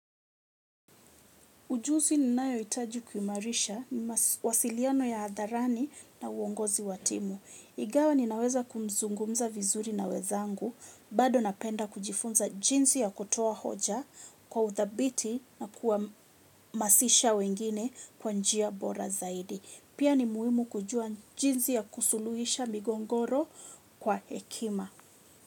Ujuzi ninaohitaji kuimarisha ni mawasiliano ya hadharani na uongozi wa timu. Ingawa ninaweza kuzungumza vizuri na wenzangu, bado napenda kujifunza jinsi ya kutoa hoja kwa uthabiti na kuhamasisha wengine kwa njia bora zaidi. Pia ni muhimu kujua jinsi ya kusuluhisha migogoro kwa hekima.